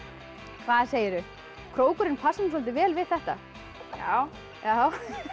hvað segirðu krókurinn passar soldið vel við þetta já já